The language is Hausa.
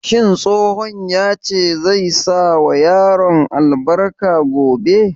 Shin tsohon ya ce zai sa wa yaran albarka gobe?